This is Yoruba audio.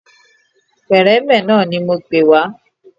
Pẹ̀rẹ́mẹ̀ náà ni mo pè wá